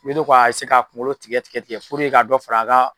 Ne do k'a eseye k'a kunkolo tigɛ tigɛ tigɛ puruke ka dɔ fara a ka